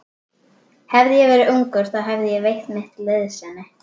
Hefði ég verið ungur, þá hefði ég veitt mitt liðsinni.